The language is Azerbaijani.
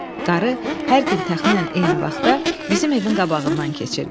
Qarı hər gün təxminən eyni vaxtda bizim evin qabağından keçirdi.